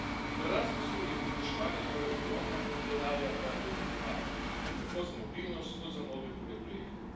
V Erasmusu je povpraševanje torej ogromno, denarja pa je vedno premalo. Tako za mobilnost, kot za mnoge druge projekte.